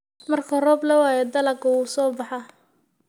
Marka roob la waayo, dalaggu wuu soo baxaa.